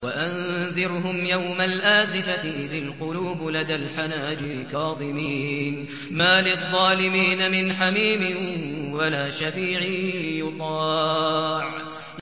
وَأَنذِرْهُمْ يَوْمَ الْآزِفَةِ إِذِ الْقُلُوبُ لَدَى الْحَنَاجِرِ كَاظِمِينَ ۚ مَا لِلظَّالِمِينَ مِنْ حَمِيمٍ وَلَا شَفِيعٍ يُطَاعُ